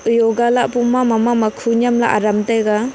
yoga lahpo ma mama khu nyan ley aram taiga.